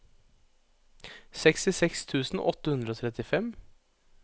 sekstiseks tusen åtte hundre og trettifem